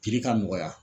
ka nɔgɔya